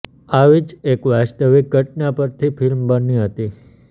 આવી જ એક વાસ્તવિક ઘટના પરથી ફિલ્મ બની હતી